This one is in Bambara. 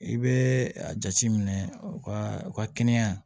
I bɛ a jateminɛ u ka u ka kɛnɛya